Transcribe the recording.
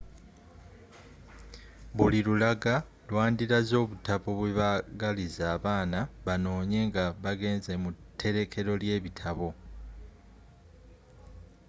buli lulaga lwandilaze obutabo bwebagaliza abaana banoonye nga bagenze mu terekero lebitabo